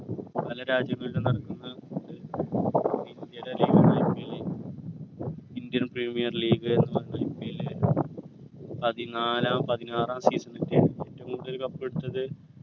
പല രാജ്യങ്ങളിലും നടത്തുന്ന indian premiere league എന്ന IPL പതിനാലാം പതിനാറാം തിയ്യതി ഏറ്റവും കൂടുതൽ cup എടുത്തത്